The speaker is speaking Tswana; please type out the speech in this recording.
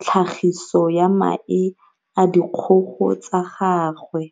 tlhagiso ya mae a dikgogo tsa gagwe